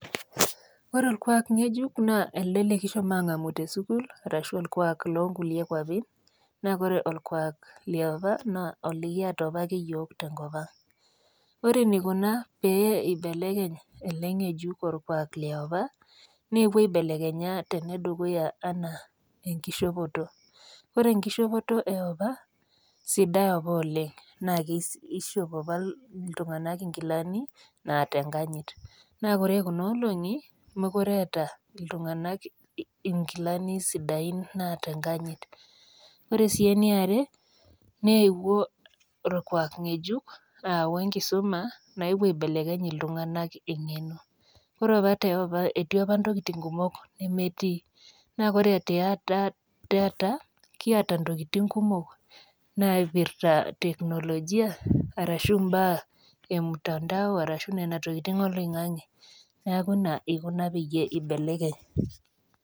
Ore olkuak ngejuk naa ele likishomo aangamu tesukuul arashu loonkulie kuapi naa ore olkuak liopa naa olikiata apake iyiook tenkopang. Ore eneikuna pee eibekeny ele ngejuk olkuak liopa neewuo aibelekenya tenedukuya enaa tenkishopoto ore eshopoto iopa sidai apa oleng',naa kishop apa iltunganak ingilani naata enkanyit. Naa ore kuna olongi meekure eeta iltunganak inkilani sidaiin naata enganyit. Ore sii iniare nepuo olkuak ngejuk aau enkisuma neewuo aibelekeny iltunganak enkeno ore apa tiopa etii apa intokitin kumok nemetii. Naa ore taata kiata intokitin kumok naipirta te teknologia arashu inaipirta nena tokitin oloingange pee eibekeny.